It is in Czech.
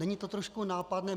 Není to trošku nápadné?